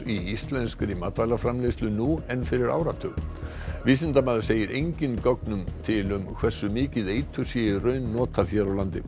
í íslenskri matvælaframleiðslu nú en fyrir áratug vísindamaður segir engin gögn til um hversu mikið eitur sé í raun notað hér á landi